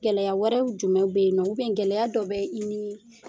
Gɛlɛya wɛrɛw jumɛn bɛ yen nɔ ou bien gɛlɛya dɔ bɛ i ni